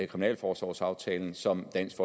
kriminalforsorgsaftalen som dansk